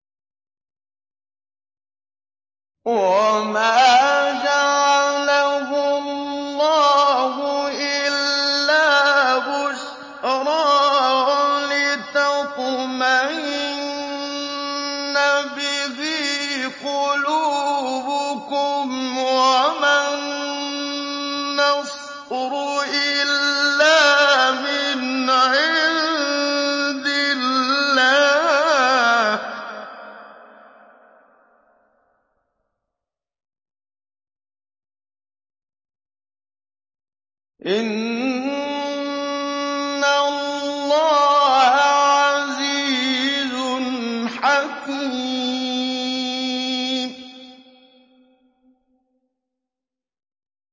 وَمَا جَعَلَهُ اللَّهُ إِلَّا بُشْرَىٰ وَلِتَطْمَئِنَّ بِهِ قُلُوبُكُمْ ۚ وَمَا النَّصْرُ إِلَّا مِنْ عِندِ اللَّهِ ۚ إِنَّ اللَّهَ عَزِيزٌ حَكِيمٌ